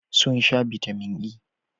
Sun sha Bitamin E